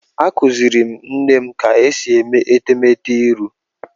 Akuziri m nne m ka esi eme etemete iru.